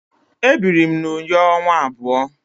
Ebiri m na Uyo ọnwa abụọ.